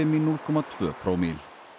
í núll komma tvö prómill